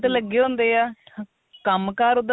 ਲੱਗੇ ਹੁੰਦੇ ਆ ਕੰਮ ਕਾਰ ਓਦਾਂ